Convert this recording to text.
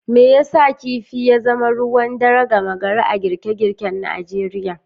Me yasa kifi ya zama ruwan dare gama gari a girke girken Najeriya?.